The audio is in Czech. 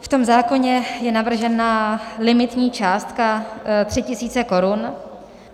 V tom zákoně je navržena limitní částka 3 tisíce korun.